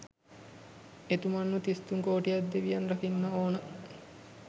එතුමන්ව තිස් තුන් කෝටියක් දෙවියන් රකින්න ඕන